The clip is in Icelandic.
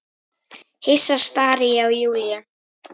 Hissa stari ég á Júlíu.